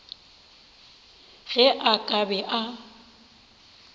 ge a ka be a